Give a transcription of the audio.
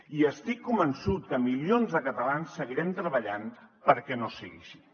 i estic convençut que milions de catalans seguirem treballant perquè no sigui així